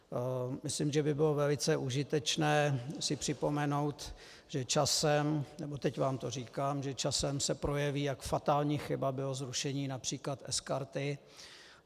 Myslím, že by bylo velice užitečné si připomenout, že časem, nebo teď vám to říkám, že časem se projeví, jak fatální chyba bylo zrušení například sKarty.